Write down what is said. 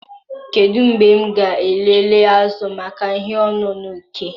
Kedu mgbe m ga-elele azụ maka ihe ọṅụṅụ ike?